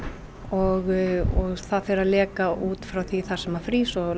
og fer að leka út frá því þar sem að frýs og